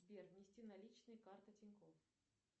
сбер внести наличные карта тинькофф